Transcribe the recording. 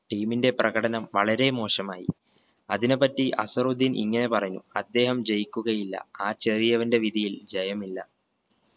team ന്റെ പ്രകടനം വളരെ മോശമായി. അതിനെപ്പറ്റി അസറുദ്ധീൻ ഇങ്ങനെ പറഞ്ഞു അദ്ദേഹം ജയിക്കുകയില്ല ആ ചെറിയവന്റെ വിധിയിൽ ജയമില്ല.